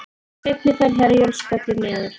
Seinni ferð Herjólfs fellur niður